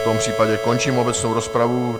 V tom případě končím obecnou rozpravu.